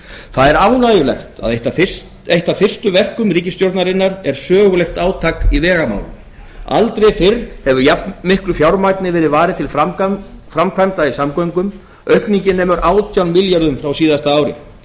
það er ánægjulegt að eitt af fyrstu verkum ríkisstjórnarinnar er sögulegt átak í vegamálum aldrei fyrr hefur jafnmiklu fjármagni verið varið til framkvæmda í samgöngum aukningin nemur átján milljörðum á síðasta ári